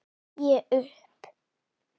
Ég upp